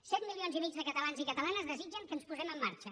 set milions i mig de catalans i catalanes desitgen que ens posem en marxa